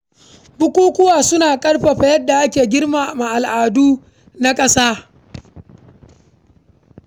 Bukukuwa suna ƙarfafa yadda ake girmama al’adu da tarihin ƙasa.